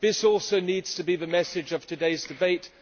This also needs to be the message of today's debate.